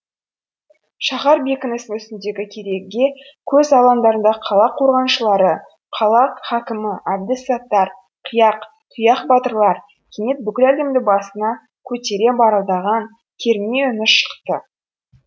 шаһар бекінісінің үстіндегі кереге көз алаңдардағы қала қорғаншылары қала хакімі әбді саттар қияқ тұяқ батырлар кенет бүкіл әлемді басына көтере барылдаған керней үні шықты